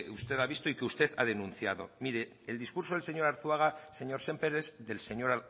usted ha visto y que usted ha denunciado mire el discurso del señor arzuaga señor sémper es del señor